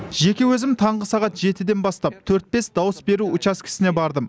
жеке өзім таңғы сағат жетіден бастап төрт бес дауыс беру учаскесіне бардым